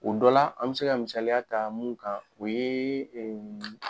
O dɔ la, an be se ka misaliya ta mun kan o ye ɛɛ